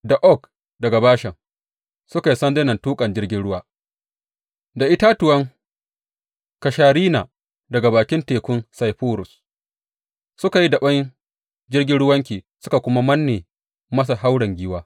Da oak daga Bashan suka yi sandunan tuƙan jirgin ruwa da itatuwan kasharina daga bakin tekun Saifurus suka yi daɓe jirgin ruwanki, suka kuma manne masa hauren giwa.